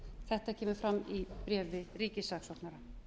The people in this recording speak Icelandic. þetta kemur fram í bréfi ríkissaksóknara